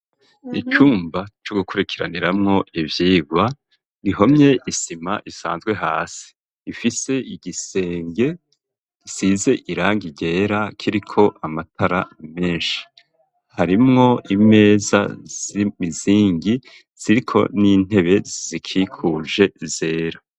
Icumba co gukurikiraniramwo ivyigwa, gihomye isima isanzwe hasi ifise igisenge risize irangi ryera kiriko amatara menshi harimwo imeza z'imizingi ziriko n'intebe zikikuje zera.